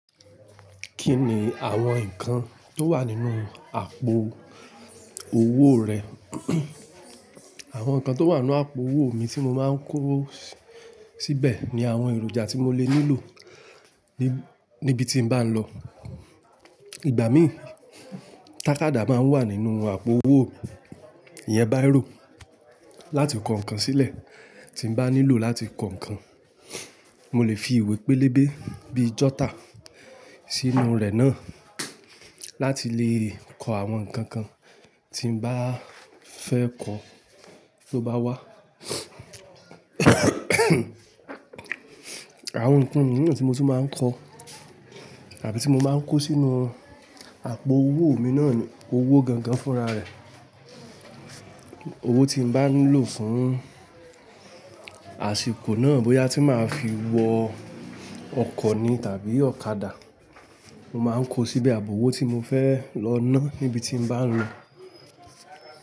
Kí ni àwọn nǹkan tó wà nínú àpò òwó rẹ? Àwọn nǹkan tó wà nínú àpò owó mi tí mo máa ń kó síbé, ni àwọn èròjà tí mo lè nílò níbi tí bá n lọ. Ìgbà mí, tàkádá máa ń wà nínú àpò owó mi, ìyẹn báírò láti kọ nǹkan sílẹ̀ tí bá nílò láti kọ nǹkan. Mo lè fi ìwé pélébé bíi jọ́tà sínú rẹ̀ náà, láti lè kọ àwọn nǹkan kan tí n bá fẹ́ kọ tó bá wá. Àwọn nǹkan mìíràn tí mo sì máa ń kọ, tàbí tí mo máa ń kó sínú àpò owó mi náà ni owó gangan fúnra rẹ̀. Owó tí n bá nílò fún àsìkò náà, bóyá tí màá fi wọ ọkọ̀ ni tàbí ọ̀kadà, mo máa ń kó síbẹ̀ àbò owó tí mo fẹ́ lò náà níbi tí n bá ń lọ.